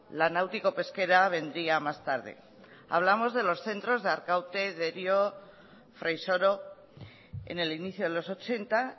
la náutico pesquera vendría más tarde hablamos de los centros de arkaute derio fraisoro en el inicio de los ochenta